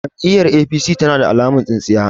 Jam'iyyar APC tana da alamar tsintsiya.